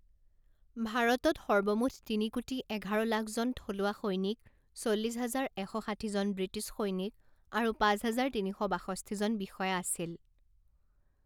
ভাৰতত সৰ্বমুঠ তিনি কোটি এঘাৰ লাখজন থলুৱা সৈনিক, চল্লিছ হাজাৰ এশ ষাঠিজন ব্ৰিটিছ সৈনিক আৰু পাঁচ হাজাৰ তিনি শ বাষষ্ঠিজন বিষয়া আছিল।